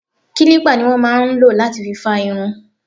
Kilipa ni wọn máa ń ló láti fi fa irun.